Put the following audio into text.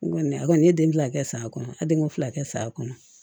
N kɔni a kɔni ye den fila kɛ sa a kɔnɔ a denko fila kɛ saya kɔnɔ